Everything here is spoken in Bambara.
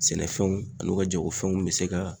Sɛnɛfɛnw ani u ka jagofɛnw mi se ka